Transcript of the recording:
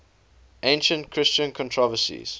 ancient christian controversies